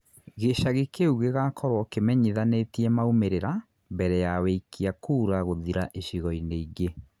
ĩchagi kiu gigakorũo kĩmenyithanĩtie maumĩrira mbere ya wĩikia kuura gũthira icigo inĩ ingĩ